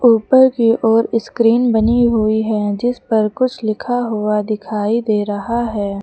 ऊपर की ओर स्क्रीन बनी हुई है जिस पर कुछ लिखा हुआ दिखाई दे रहा है।